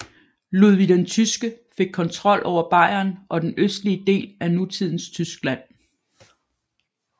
Ludvig den Tyske fik kontrol over Bayern og den østlige del af nutidens Tyskland